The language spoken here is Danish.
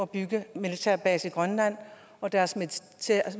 bygge militærbaser i grønland og deres